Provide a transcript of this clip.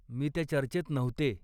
मी त्या चर्चेत नव्हते.